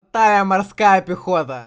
талья морская пехота